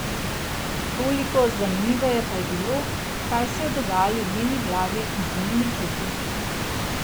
Toliko zanimiveje pa je bilo, kaj se je dogajalo v njeni glavi in z njenimi čuti.